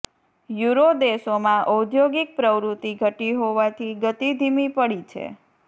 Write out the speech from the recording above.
euro દેશોમાં ઔદ્યોગિક પ્રવૃતિ ઘટી હોવાથી ગતિ ધીમી પડી છે